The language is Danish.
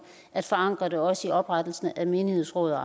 at forankre det også i oprettelsen af menighedsråd og